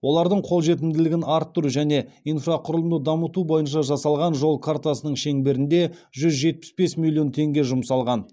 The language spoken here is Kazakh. олардың қолжетімділігін арттыру және инфрақұрылымды дамыту бойынша жасалған жол картасының шеңберінде жүз жетпіс бес миллион теңге жұмсалған